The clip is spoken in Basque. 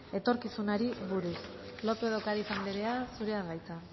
etorkizunari buruz lópez de ocariz anderea zurea da hitza